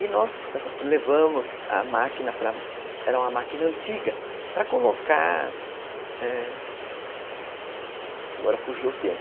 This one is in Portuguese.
E nós levamos a máquina para, era uma máquina antiga, para colocar...é... Agora fugiu o termo.